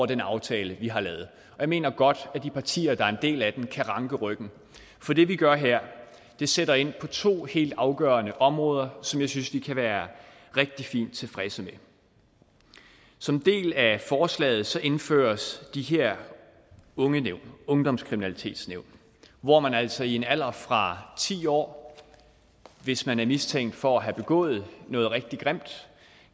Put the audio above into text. den aftale vi har lavet jeg mener godt at de partier der er en del af den kan ranke ryggen for det vi gør her sætter ind på to helt afgørende områder som jeg synes vi kan være rigtig fint tilfredse med som en del af forslaget indføres de her ungdomskriminalitetsnævn hvor man altså i en alder fra ti år hvis man er mistænkt for at have begået noget rigtig grimt